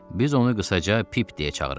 Biz onu qısaca Pip deyə çağırırdıq.